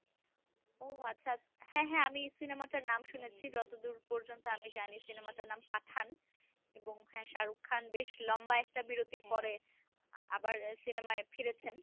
ও আচ্ছা হ্যা হ্যা আমি সিনেমাটার নাম শুনেছি যতদূর পর্যন্ত আমি জানি সিনেমাটার নাম পাঠান এবং হ্যা শাহরুখ খান বেশ লম্বা একটা বীরতির পরে আবার সিনেমায় ফিরেছেন।